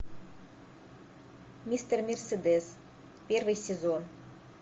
мистер мерседес первый сезон